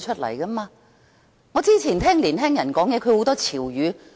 我也不大聽得懂年輕人的潮語。